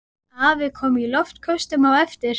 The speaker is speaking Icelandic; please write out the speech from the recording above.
Afi kom í loftköstum á eftir.